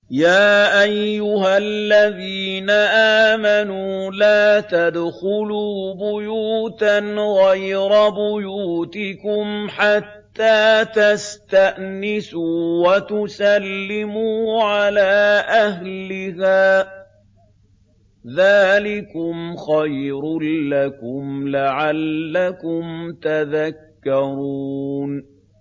يَا أَيُّهَا الَّذِينَ آمَنُوا لَا تَدْخُلُوا بُيُوتًا غَيْرَ بُيُوتِكُمْ حَتَّىٰ تَسْتَأْنِسُوا وَتُسَلِّمُوا عَلَىٰ أَهْلِهَا ۚ ذَٰلِكُمْ خَيْرٌ لَّكُمْ لَعَلَّكُمْ تَذَكَّرُونَ